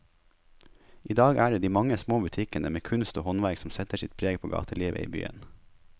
I dag er det de mange små butikkene med kunst og håndverk som setter sitt preg på gatelivet i byen.